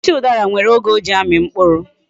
Osisi udara nwere oge o ji ami mkpuru